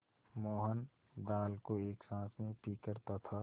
मोहन दाल को एक साँस में पीकर तथा